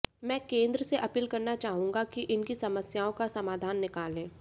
मैं केंद्र से अपील करना चाहुंगा कि इनकी समस्याओं का समाधान निकालें